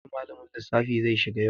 Aji malamin lissafi zai shiga yau.